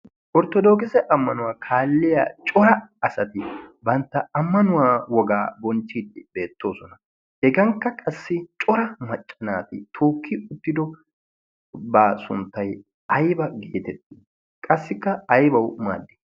orttodookise ammanuwaa kaalliya cora asati bantta ammanuwaa wogaa bonchchiiddi beettoosona hegankka qassi cora maccanaati tookki uttido baa sunttay ayba geetettii qassikka aybawu maaddi?